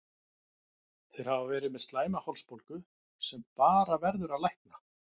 Þeir hafa verið með slæma hálsbólgu sem bara verður að lækna.